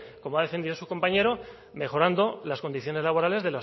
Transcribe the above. como ha defendido su compañero mejorando las condiciones laborales